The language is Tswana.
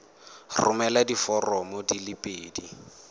romela diforomo di le pedi